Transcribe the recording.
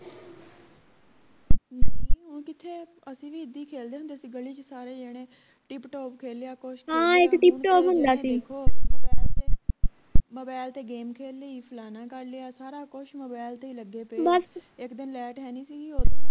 ਅਸੀਂ ਵੀ ਇੱਦਾਂ ਹੀ ਖੇਲਦੇ ਹੁੰਦੇ ਸੀ ਗਲੀ ਚ ਸਾਰੇ ਜਣੇ ਟਿਪ ਟਾਪ ਖੇਲ ਲਿਆ ਕੁਸ਼ mobile ਤੇ game ਖੇਲ ਲਈ ਫਲਾਨਾ ਕਰ ਲਿਆ ਸਾਰਾ ਕੁਸ਼ mobile ਤੇ ਹੀ ਲੱਗੇ ਇਕ ਦਿਨ ਲੈਟ ਹੈ ਨਹੀਂ ਸੀ ਗੀ ਓਦਣ